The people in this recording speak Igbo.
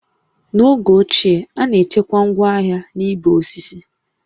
N'oge ochie, a na-echekwa ngwaahịa na igbe osisi